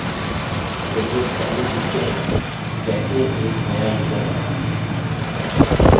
चलिए पहले सीखते हैं की कैसे एक नया यूज़र बनाएँ